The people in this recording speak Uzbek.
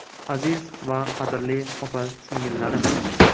Aziz va qadrli opa-singillarim!